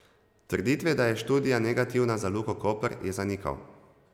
Trditve, da je študija negativna za Luko Koper, je zanikal.